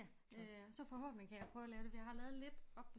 Ja så forhåbentlig kan jeg prøve at lave det fordi jeg har lavet lidt oppe på